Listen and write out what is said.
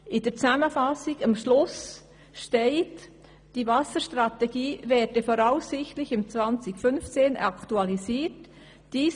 In der Zusammenfassung steht am Schluss, dass die Wasserstrategie voraussichtlich 2015 aktualisiert werde.